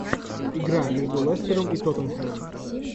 игра между лестером и тоттенхэмом